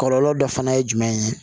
Kɔlɔlɔ dɔ fana ye jumɛn ye